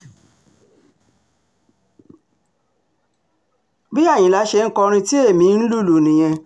bí àyínlà ṣe ń kọrin tí ẹ̀mí ń lùlù nìyẹn